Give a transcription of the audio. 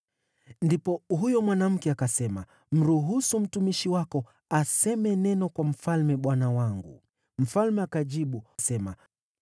Ndipo huyo mwanamke akasema, “Mruhusu mtumishi wako aseme neno kwa mfalme bwana wangu.” Mfalme akajibu, “Sema.”